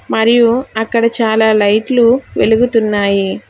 మరియు అక్కడ చాలా లైట్లు వెలుగుతున్నాయి.